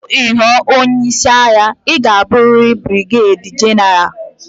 Tupu ị ghọọ onye isi agha, ị ga-abụrịrị brigeda genaral.